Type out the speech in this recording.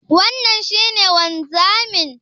Wannan shi ne wanzamin?